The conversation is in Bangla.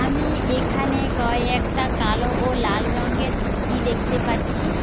আমি এখানে কয়েকটা কালো ও লাল রংগের মুরগি দেখতে পাচ্ছি।